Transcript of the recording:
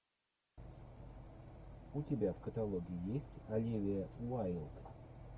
у тебя в каталоге есть оливия уайлд